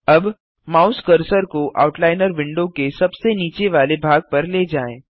अब mouse cursor को outliner window के सबसे नीचे वाले भाग पर ले जाएँ